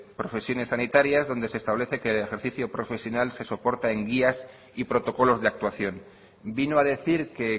profesiones sanitarias donde se establece que en el ejercicio profesional se soporta en guías y protocolos de actuación vino a decir que